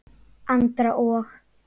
Andra og